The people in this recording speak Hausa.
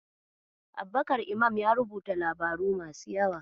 Abubakar Imam ya rubuta labaru masu yawa.